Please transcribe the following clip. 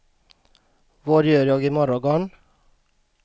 vad gör jag imorgon